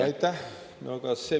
Aitäh!